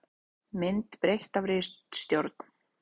Mynd breytt af ritstjórn.